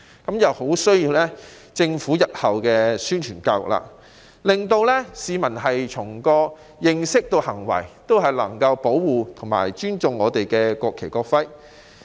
那便有賴政府日後進行宣傳教育，令市民從認知以至行為均能保護和尊重國旗、國徽。